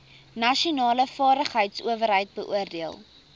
nasionale vaardigheidsowerheid beoordeel